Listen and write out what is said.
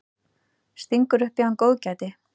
Stingur upp í hann góðgæti.